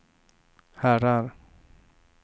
herrar